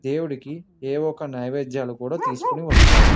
దేవుడికి దేవుడికి నేవేధ్యాలు కూడా తీసుకోని వస్తారు--